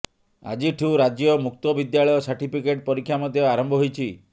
ଆଜିଠୁ ରାଜ୍ୟ ମୁକ୍ତ ବିଦ୍ୟାଳୟ ସାର୍ଟିଫିକେଟ ପରୀକ୍ଷା ମଧ୍ୟ ଆରମ୍ଭ ହୋଇଛି